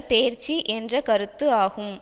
தேர்ச்சி என்ற கருத்து ஆகும்